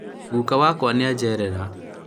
guka wakwa nĩajerera